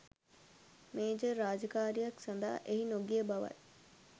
major රාජකාරියක් සඳහා එහි නොගිය බවත්